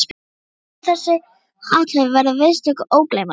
Þessi dagur og þessi athöfn verður viðstöddum ógleymanleg.